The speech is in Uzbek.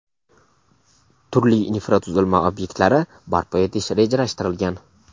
turli infratuzilma ob’ektlari barpo etish rejalashtirilgan.